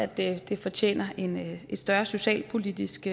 det det fortjener en større socialpolitisk